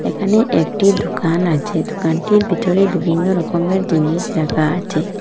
এখানে একটি দুকান আছে দুকানটির ভিতরে বিভিন্ন রকমের জিনিস রাকা আছে।